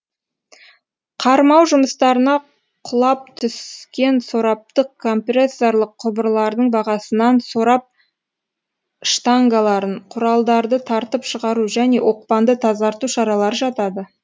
қармау жұмыстарына құлап түскен сораптық компрессорлық құбырлардың бағасынан сорап штангаларын құралдарды тартып шығару және оқпанды тазарту шаралары жатады